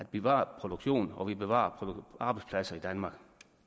bevarer produktionen og at vi bevarer arbejdspladser i danmark